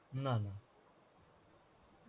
না, না.